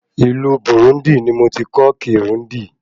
Ìlú Burundi ní mo tí kọ́ Kirundi